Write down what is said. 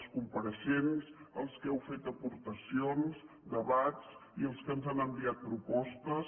els compareixents els que heu fet aportacions debats i els que ens han enviat propostes